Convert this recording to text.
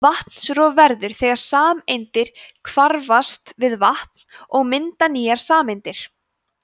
vatnsrof verður þegar sameindir hvarfast við vatn og mynda nýjar sameindir